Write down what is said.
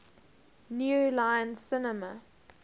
new line cinema